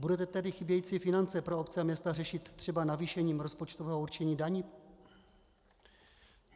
Budete tedy chybějící finance pro obce a města řešit třeba navýšením rozpočtového určení daní?